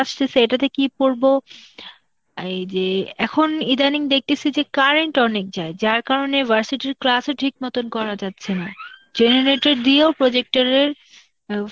আসতিছে, এটাতে কি পড়ব, এই যে এখন ইদানিং দেখতেসি যে current অনেক যায়, যার কারনে versity র class ও ঠিক মতন করা যাচ্ছে না. generator দিয়ে ও projector এর আ